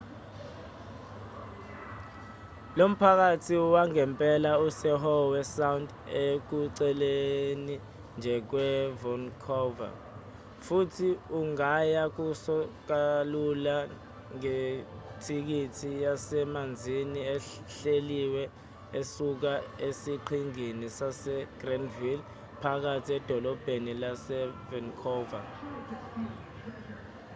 lo mphakathi wangempela use-howe sound ekuceleni nje kwe-vancouver futhi ungaya kuso kalula ngetikisi yasemanzini ehleliwe esuka esiqhingini sasegrandville phakathi edolobheni lase-vancouver